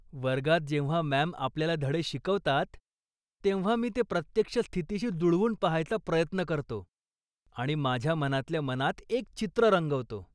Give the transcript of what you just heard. वर्गात जेव्हा मॅम् आपल्याला धडे शिकवतात, तेव्हा मी ते प्रत्यक्ष स्थितीशी जुळवून पाहायचा प्रयत्न करतो आणि माझ्या मनातल्या मनात एक चित्र रंगवतो.